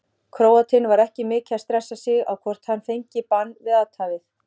Króatinn var ekki mikið að stressa sig á hvort hann fengi bann fyrir athæfið.